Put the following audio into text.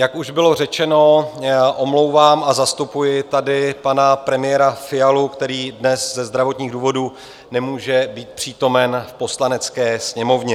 Jak už bylo řečeno, omlouvám a zastupuji tady pana premiéra Fialu, který dnes ze zdravotních důvodů nemůže být přítomen v Poslanecké sněmovně.